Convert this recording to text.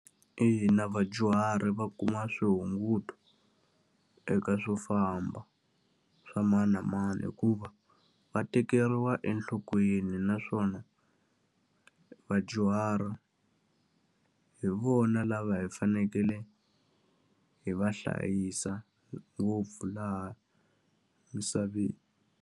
Ina na vadyuhari va kuma swihunguto eka swo famba swa mani na mani hikuva, va tekeriwa enhlokweni naswona vadyuhari hi vona lava hi fanekele hi va hlayisa ngopfu laha misaveni.